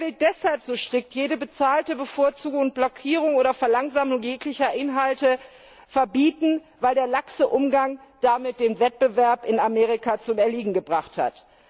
Er will deshalb so strikt jede bezahlte Bevorzugung, Blockierung oder Verlangsamung jeglicher Inhalte verbieten, weil der laxe Umgang damit den Wettbewerb in Amerika zum Erliegen gebracht hat.